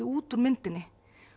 út úr myndinni